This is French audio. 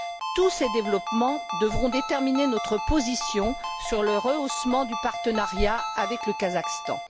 Tous ces développements devront déterminer notre position sur le rehaussement du partenariat avec le Kazakhstan.